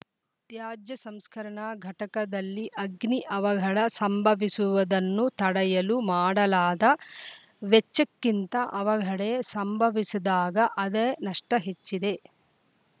ತ್ಯಾಜ್ಯ ಸಂಸ್ಕರಣಾ ಘಟಕದಲ್ಲಿ ಅಗ್ನಿ ಅವಘಡ ಸಂಭವಿಸುವುದನ್ನು ತಡೆಯಲು ಮಾಡಲಾದ ವೆಚ್ಚಕ್ಕಿಂತ ಅವಘಡೆ ಸಂಭವಿಸಿದಾಗ ಆದೆ ನಷ್ಟಹೆಚ್ಚಿದೆ